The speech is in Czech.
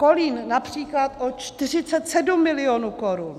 Kolín například o 47 milionů korun.